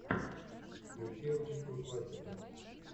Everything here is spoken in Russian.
включи русскую классику